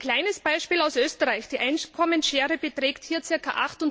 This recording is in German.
Ein kleines Beispiel aus Österreich Die Einkommensschere beträgt hier ca.